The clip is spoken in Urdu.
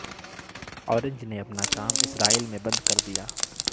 اورنج نے اپنا کام اسرائیل میں بند کر دیا